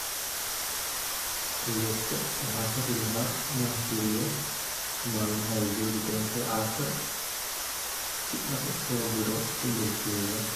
alexa waxaan rabilaha iin aan firiyo maalimaha ay jogi doonto asha si aan u soo diro iimaylkeeda